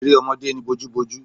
Eré ọmọdé ni bojúbojú.